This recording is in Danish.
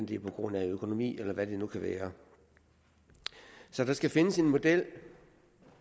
det er på grund af økonomi eller hvad det nu kan være der skal findes en model